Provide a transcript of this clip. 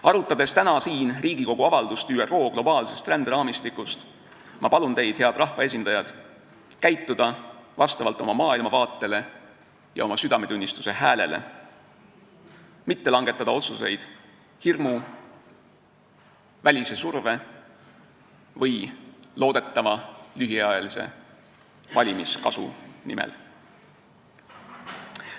Arutades täna siin Riigikogu avaldust ÜRO globaalse ränderaamistiku kohta, palun ma teid, head rahvaesindajad, käituda vastavalt oma maailmavaatele ja oma südametunnistuse häälele, mitte langetada otsuseid hirmu ja välise surve põhjal või loodetava lühiajalise valimiskasu nimel.